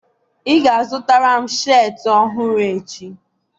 ị ga-azụtara m sheetị ọhụrụ echi!